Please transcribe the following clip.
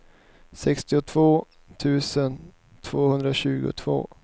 sextiotvå tusen tvåhundratjugotvå